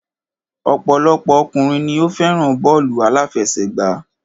Ọ̀pọ̀lọpọ̀ ọkùnrin ni o fẹ́ràn bọ́ọ̀lù àláfẹsẹ̀gbá.